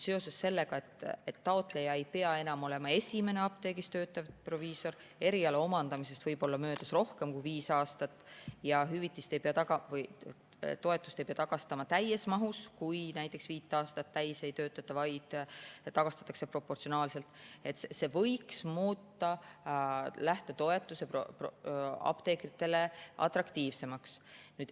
Seoses sellega, et taotleja ei pea enam olema esimene apteegis töötav proviisor, eriala omandamisest võib olla möödas rohkem kui viis aastat ja toetust ei pea tagastama täies mahus, kui näiteks viit aastat täis ei töötata, vaid see tagastatakse proportsionaalselt, võiks lähtetoetus muutuda apteekritele atraktiivsemaks.